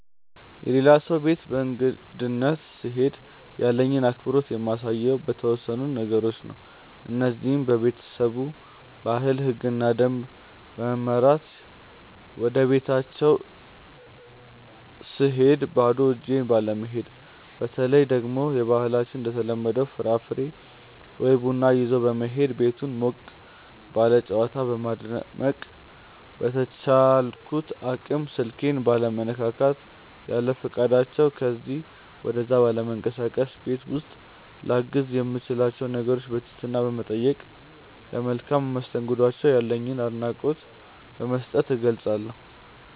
የሌላ ሰው ቤት በእንግድነት ስሄድ ያለኝን አክብሮት የማሳየው በተወሰኑ ነገሮች ነው። እነዚህም:- በቤተሰቡ ባህል፣ ህግና ደንብ በመመራት፣ ወደቤታቸው ስሄድ ባዶ እጄን ባለመሄድ፣ በተለይ ደግሞ በባህላችን እንደተለመደው ፍራፍሬ ወይ ቡና ይዞ በመሄድ፣ ቤቱን ሞቅ ባለ ጨዋታ በማድመቅ፣ በቻልኩት አቅም ስልኬን ባለመነካካት፣ ያለፈቃዳቸው ከዚ ወደዛ ባለመንቀሳቀስ፣ ቤት ውስጥ ላግዝ የምችላቸውን ነገሮች በትህትና በመጠየቅ፣ ለመልካም መስተንግዷቸው ያለኝን አድናቆት በመስጠት እገልፀዋለሁ።